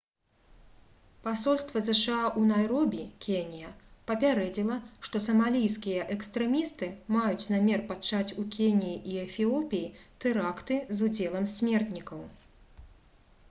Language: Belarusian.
пасольства зша ў найробі кенія папярэдзіла што «самалійскія экстрэмісты» маюць намер пачаць у кеніі і эфіопіі тэракты з удзелам смертнікаў